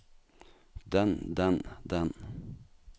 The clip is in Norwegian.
den den den